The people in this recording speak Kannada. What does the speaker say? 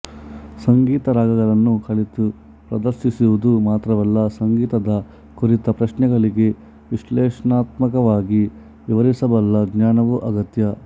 ಸಂಗೀತ ರಾಗಗಳನ್ನು ಕಲಿತು ಪ್ರದರ್ಶಿಸುವುದು ಮಾತ್ರವಲ್ಲ ಸಂಗೀತದ ಕುರಿತ ಪ್ರಶ್ನೆಗಳಿಗೆ ವಿಶ್ಲೇಷಣಾತ್ಮಕವಾಗಿ ವಿವರಿಸಬಲ್ಲ ಜ್ಞಾನವೂ ಅಗತ್ಯ